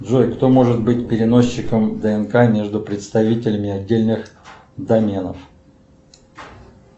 джой кто может быть переносчиком днк между представителями отдельных доменов